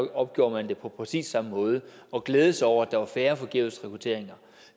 opgjorde man det på præcis samme måde og glædede sig over at der var færre forgæves rekrutteringer